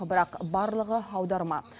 бірақ барлығы аударма